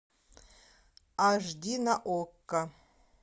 аш ди на окко